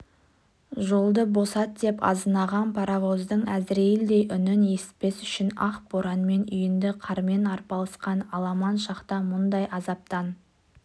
жолды босат деп азынаған паровоздың әзірейілдей үнін есітпес үшін ақ боранмен үйінді қармен арпалысқан аламан шақта мұндай азаптан